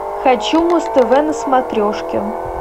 хочу муз тв на смотрешке